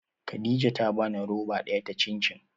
Khadija ta bani roba daya ta cin cin.